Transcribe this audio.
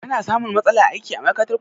Ka na samun matsala aiki a ma'aikatar kuɗi?